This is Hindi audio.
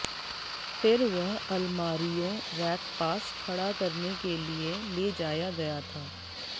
फिर वह अलमारियों रैक पास खड़ा करने के लिए ले जाया गया था